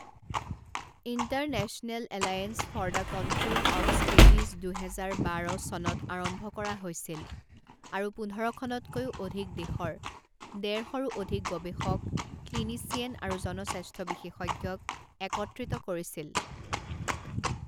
International alliance for the control of scabies দুহেজাৰ বাৰ চনত আৰম্ভ কৰা হৈছিল আৰু পোন্ধৰখনতকৈও অধিক দেশৰ ডেৰ শৰো অধিক গৱেষক ক্লিনিচিয়েন আৰু জন স্বাস্থ্য বিশেষজ্ঞক একত্ৰিত কৰিছিল।